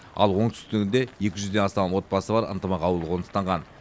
ал оңтүстіктігінде екі жүзден астам отбасы бар ынтымақ ауылы қоныстанған